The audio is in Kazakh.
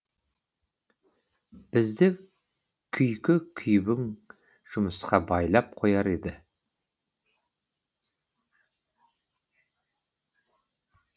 бізді күйкі күйбең жұмысқа байлап қояр еді